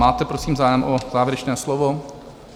Máte prosím zájem o závěrečné slovo?